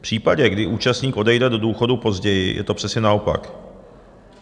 V případě, kdy účastník odejde do důchodu později, je to přesně naopak.